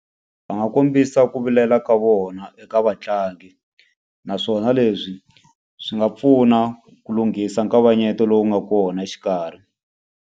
Va nga kombisa ku vilela ka vona eka vatlangi, naswona leswi swi nga pfuna ku lunghisa nkavanyeto lowu nga kona exikarhi.